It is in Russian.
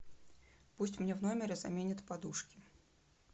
пусть мне в номере заменят подушки